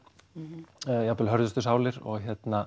jafnvel hörðustu sálir og